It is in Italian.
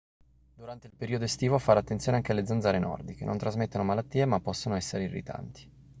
durante il periodo estivo fare attenzione anche alle zanzare nordiche non trasmettono malattie ma possono essere irritanti